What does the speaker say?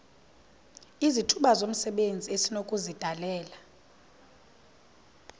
izithuba zomsebenzi esinokuzidalela